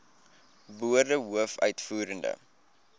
woorde hoof uitvoerende